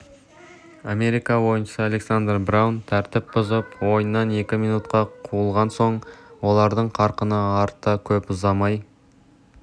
америка ойыншысы александра браун тәртіп бұзып ойыннан екі минутқа қуылған соң олардың қарқыны артты көп ұзамай